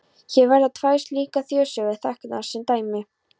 Hér verða tvær slíkar þjóðsögur teknar sem dæmi.